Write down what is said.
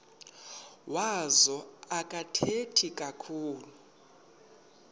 wazo akathethi kakhulu